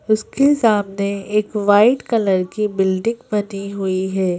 उसके सामने एक वाइट कलर की बिल्डिंग बनी हुई है।